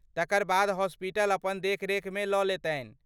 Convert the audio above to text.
तकर बाद, हॉस्पिटल अपन देखरेखमे लऽ लेतनि।